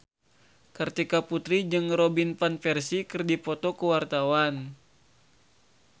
Kartika Putri jeung Robin Van Persie keur dipoto ku wartawan